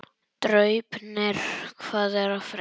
Draupnir, hvað er að frétta?